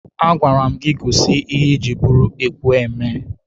A gwara m gị gosi ihe ị jiri bụrụ ekwu eme!